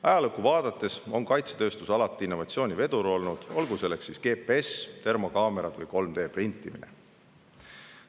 Ajaloos on kaitsetööstus alati olnud innovatsiooni vedur, olgu GPS, termokaamerad või 3D‑printimine.